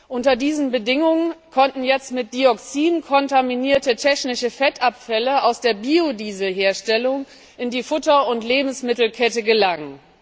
Unter diesen Bedingungen konnten jetzt mit Dioxin kontaminierte technische Fettabfälle aus der Biodieselherstellung in die Futter und Lebensmittelkette gelangen.